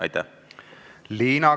" Aitäh!